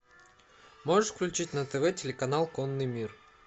можешь включить на тв телеканал конный мир